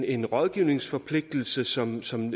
en rådgivningsforpligtelse som som